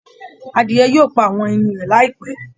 Adìẹ yìí yóò pa àwọn ẹyin rẹ̀ láìpẹ́